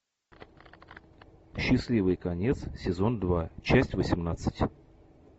счастливый конец сезон два часть восемнадцать